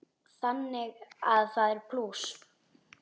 Þannig að það er plús.